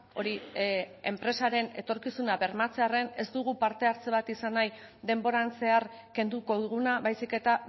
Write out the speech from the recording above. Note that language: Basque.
hori enpresaren etorkizuna bermatzearren ez dugu parte hartze bat izan nahi denboran zehar kenduko duguna baizik eta